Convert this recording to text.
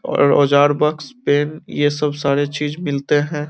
और औजार-बॉक्स पेन ये सब सारे चीज मिलते हैं।